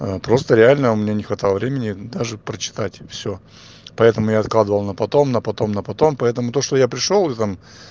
просто реально у меня не хватало времени даже прочитать всё поэтому и откладывала на потом на потом на потом поэтому то что я пришёл там